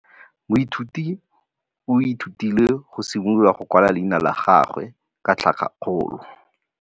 Moithuti o ithutile go simolola go kwala leina la gagwe ka tlhakakgolo.